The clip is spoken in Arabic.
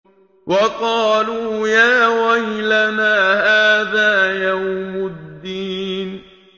وَقَالُوا يَا وَيْلَنَا هَٰذَا يَوْمُ الدِّينِ